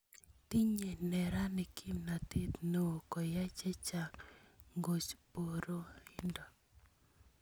Tinyei neranik kimnatet neo koyai chechang ngekoch boroindo